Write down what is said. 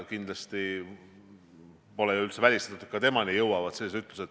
Kindlasti pole üldse välistatud, et sellised ütlused jõuavad ka temani.